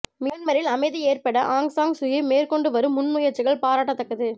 மியான்மரில் அமைதி ஏற்பட ஆங் சான் சூகி மேற்கொண்டு வரும் முன்முயற்சிகள் பாராட்டத்தக்கது